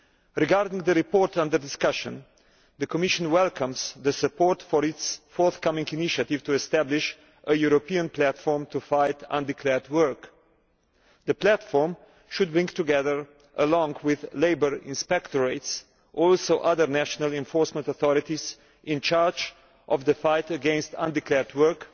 Regarding the report under discussion, the Commission welcomes the support for its forthcoming initiative to establish a European platform to fight undeclared work. The platform should bring together along with labour inspectorates other national enforcement authorities in charge of the fight against undeclared work,